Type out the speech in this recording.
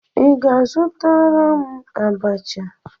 Ị ga-azụtara m abacha?